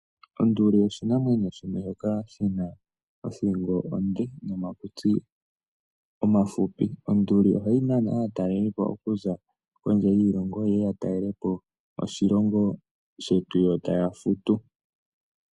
Onduli oshinamwenyo shimwe shoka shi na othingo onde nomakutsi omafupi. Onduli ohayi nana aatalelipo okuza kondje yiilongo ye ye ya talelepo oshilongo shetu yo taya futu.